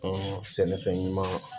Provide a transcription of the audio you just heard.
sɛnɛfɛn ɲuman